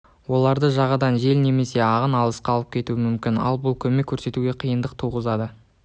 оларды жағадан жел немесе ағын алысқа алып кетуі мүмкін ал бұл көмек көрсетуге қиындық туғызады